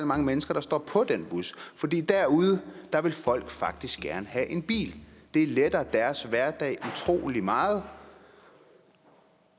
mange mennesker der står på den bus fordi derude vil folk faktisk gerne have en bil det letter deres hverdag utrolig meget